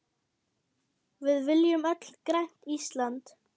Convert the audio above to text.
Við viljum öll grænt Ísland.